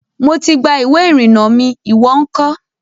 Mo ti gba ìwé ìrìnnà mi. ìwó ńkọ́?